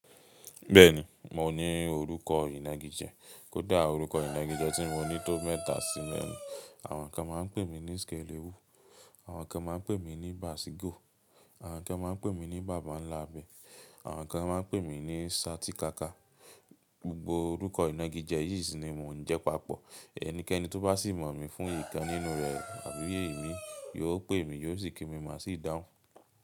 Bẹ́ẹ̀ni, mò ní orúkọ ìnagijẹ. Kódà orúkọ ìnagijẹ tí mò ní tó mẹ́ta sí mẹ́rin. Àwọn kan má ń pè mí ní skèlèwú àwọn kan má ń pè mí ní bàsígo àwọn kan má ń pè mí ní bàbánlábẹ̀ àwọn kan má ń pè mí ní sátikáká. Gbogbo orúkọ ìnagijẹ yìí sì ni mò ń jẹ́ papọ̀. Ẹnikẹ́ni tó bá sì mọ̀ mí fún ìkan nínú rẹ̀ àbí ìmií, yóò pè mí yóò sì kí mi maá sì dáhùn.